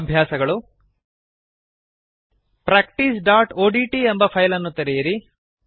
ಅಭ್ಯಾಸಗಳು practiceಒಡಿಟಿ ಎಂಬ ಫೈಲ್ ಅನ್ನು ತೆರೆಯಿರಿ